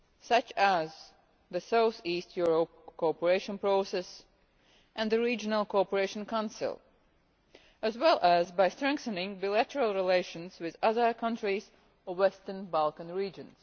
such as the South-East Europe Cooperation Process and the Regional Cooperation Council, as well as by strengthening bilateral relations with other countries of Western Balkans region.